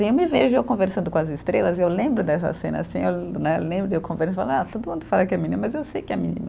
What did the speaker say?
Eu me vejo eu conversando com as estrelas, eu lembro dessa cena assim, eu né lembro, eu conversando, ah todo mundo fala que é menino, mas eu sei que é menina.